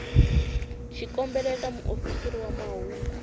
xikombelo eka muofisiri wa mahungu